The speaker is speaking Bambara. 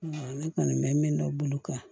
ne kɔni bɛ min dɔn bolo kan